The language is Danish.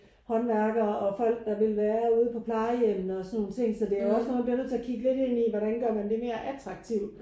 Håndværkere og folk der vil være ude på plejehjemmet og sådan nogle ting så det er jo også noget man bliver nødt til at kigge lidt ind i hvordan gør man det mere attraktivt